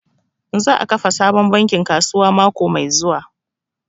Za a kafa sabon bankin kasuwa mako mai zuwa